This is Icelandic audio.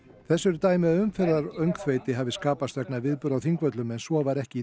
þess eru dæmi að umferðaröngþveiti hafi skapast vegna viðburða á Þingvöllum en svo var ekki